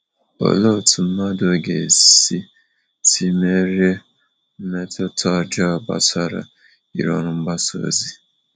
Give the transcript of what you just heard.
Olee otu mmadụ ga esi si merie mmetụta ọjọọ gbasara ịrụ ọrụ mgbasa ozi?